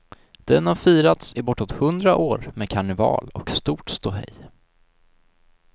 Den har firats i bortåt hundra år med karneval och stort ståhej.